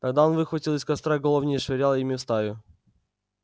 тогда он выхватывал из костра головни и швырял ими в стаю